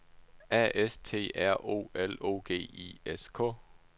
A S T R O L O G I S K